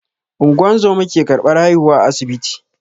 Ungozoma ke ƙarbar haihuwa a asibiti.